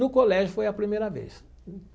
No colégio foi a primeira vez.